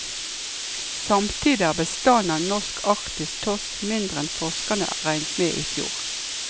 Samtidig er bestanden av norsk arktisk torsk mindre enn forskerne regnet med i fjor.